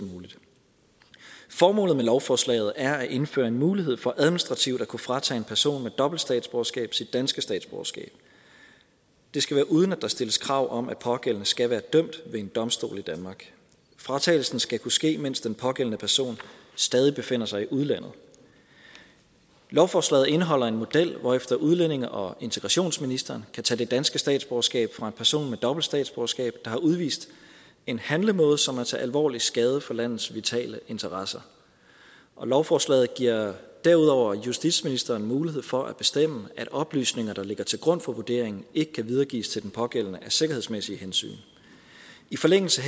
muligt formålet med lovforslaget er at indføre en mulighed for administrativt at kunne fratage en person med dobbelt statsborgerskab sit danske statsborgerskab det skal være uden at der stilles krav om at den pågældende skal være dømt ved en domstol i danmark fratagelsen skal kunne ske mens den pågældende person stadig befinder sig i udlandet lovforslaget indeholder en model hvorefter udlændinge og integrationsministeren kan tage det danske statsborgerskab fra en person med dobbelt statsborgerskab der har udvist en handlemåde som er til alvorlig skade for landets vitale interesser lovforslaget giver derudover justitsministeren mulighed for at bestemme at oplysninger der ligger til grund for vurderingen ikke kan videregives til den pågældende af sikkerhedsmæssige hensyn i forlængelse